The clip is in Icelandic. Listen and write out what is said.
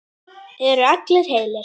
Eru allir heilir?